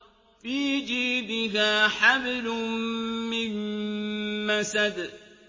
فِي جِيدِهَا حَبْلٌ مِّن مَّسَدٍ